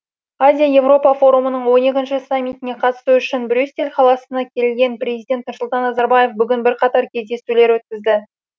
азия еуропа форумының ші саммитіне қатысты үшін брюссель қаласына келген президент нұрсұлтан назарбаев бүгін бірқатар кездесулер өткізді